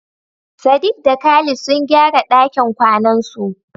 Sadiq da Khalid sun gyara dakin kwanansu.